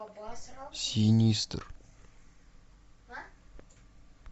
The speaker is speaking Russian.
синистер